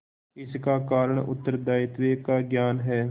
इसका कारण उत्तरदायित्व का ज्ञान है